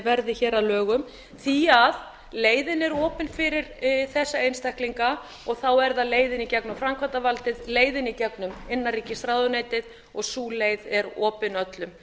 verði hér að lögum því leiðin er opin fyrir þessa einstaklinga þá er það leiðin í gegnum framkvæmdavaldið leiðin í gegnum innanríkisráðuneytið og sú leið er opin öllum